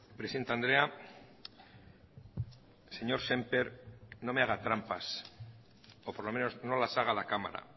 presidente andrea señor sémper no me haga trampas o por lo menos no las haga a la cámara